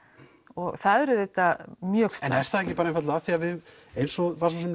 og það er auðvitað mjög slæmt er það ekki einfaldlega af því að við eins og